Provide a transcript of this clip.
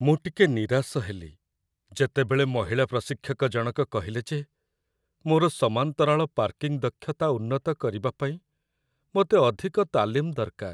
ମୁଁ ଟିକେ ନିରାଶ ହେଲି, ଯେତେବେଳେ ମହିଳା ପ୍ରଶିକ୍ଷକ ଜଣକ କହିଲେ ଯେ ମୋର ସମାନ୍ତରାଳ ପାର୍କିଂ ଦକ୍ଷତା ଉନ୍ନତ କରିବା ପାଇଁ ମୋତେ ଅଧିକ ତାଲିମ ଦରକାର।